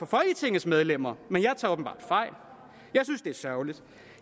folketingets medlemmer men jeg tager åbenbart fejl jeg synes det er sørgeligt